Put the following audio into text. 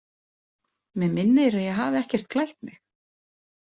Mig minnir að ég hafi ekkert klætt mig.